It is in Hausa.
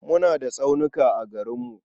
Muna da tsaunuka a garinmu.